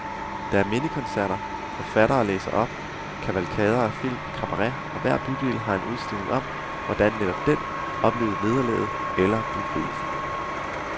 Der er mindekoncerter, forfattere læser op, kavalkader af film, kabaret, og hver bydel har en udstilling om, hvordan netop den oplevede nederlaget eller befrielsen.